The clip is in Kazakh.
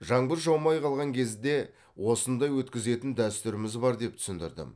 жаңбыр жаумай қалған кезде осындай өткізетін дәстүріміз бар деп түсіндірдім